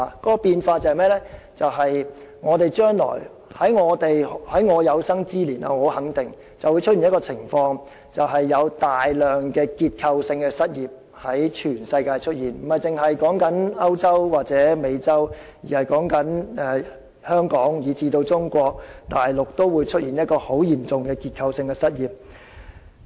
由於這個變化，我肯定在我有生之年一定會出現一種情況，那便是全球各地均會出現大量的結構性失業，不止是歐洲或美洲，香港以至中國大陸也會出現很嚴重的結構性失業問題。